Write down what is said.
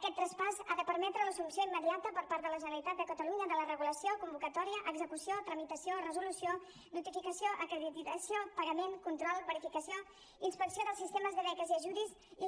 aquest traspàs ha de permetre l’assumpció immediata per part de la generalitat de catalunya de la regulació convocatòria execució tramitació resolució notificació acreditació pagament control verificació inspecció dels sistemes de beques i